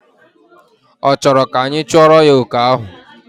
Ọ chọrọ ka anyị chụọrọ ya oke ahụ?